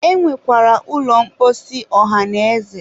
e nwekwara ụlọ mposi ọhanaeze